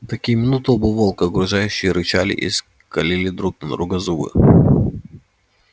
в такие минуты оба волка угрожающе рычали и скалили друг на друга зубы